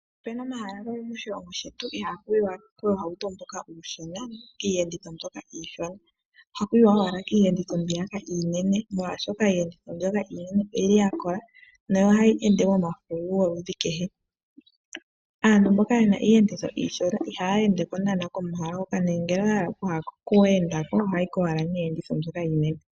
Ope na omahala gamwe moshilongo shetu, ihaaku yiwa kuuhauto mboka uushona, iiyenditho mbyoka iishona haku yi wa owala kiiyenditho mbyoka iinene, molwashoka iiyenditho mbyoka iinene oya kola nohayi ende momafululu goludhi kehe. Aantu mboka ye na iiyenditho mbyoka iishona ihaya ende ko unene komahala hoka nongele oya hala oku enda ko ohaya yi ko owala niiyenditho mbyoka iinene.